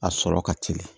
A sɔrɔ ka teli